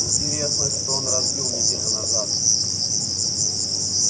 интересно что он разбил неделю назад